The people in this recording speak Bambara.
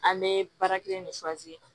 An bɛ baara kelen ne